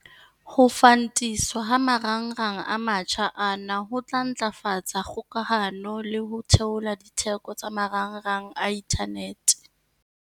Ho fantiswa ha marangrang a mantjha ana ho tla ntlafatsa kgokahano le ho theola ditheko tsa marangrang a inthanete.